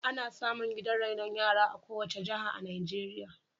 Ana samu gidan rainon yara a kowace jiha a Najeirya.